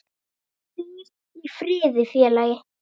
Hvíl í friði félagi.